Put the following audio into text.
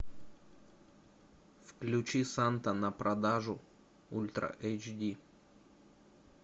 включи санта на продажу ультра эйч ди